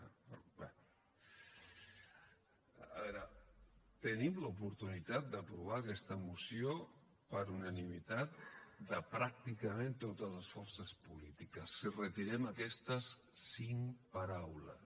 a veure tenim l’oportunitat d’aprovar aquesta moció per unanimitat de pràcticament totes les forces polítiques si retirem aquestes cinc paraules